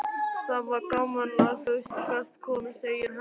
Það var gaman að þú gast komið, segir Hemmi.